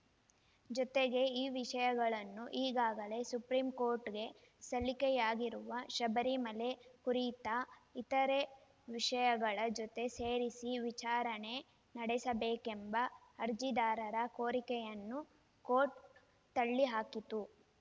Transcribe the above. ಜೊತೆಗೆ ಈ ವಿಷಯಗಳನ್ನು ಈಗಾಗಲೇ ಸುಪ್ರೀಂ ಕೋರ್ಟ್‌ಗೆ ಸಲ್ಲಿಕೆಯಾಗಿರುವ ಶಬರಿಮಲೆ ಕುರಿತ ಇತರೆ ವಿಷಯಗಳ ಜೊತೆ ಸೇರಿಸಿ ವಿಚಾರಣೆ ನಡೆಸಬೇಕೆಂಬ ಅರ್ಜಿದಾರರ ಕೋರಿಕೆಯನ್ನೂ ಕೋರ್ಟ್‌ ತಳ್ಳಿಹಾಕಿತು